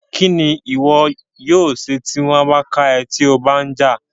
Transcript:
Kín ni ìwọ yóò ṣe tí wọ́n bá ká ẹ́ tí o bá ń jà?